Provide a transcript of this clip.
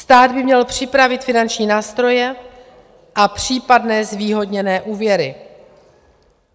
Stát by měl připravit finanční nástroje a případné zvýhodněné úvěry.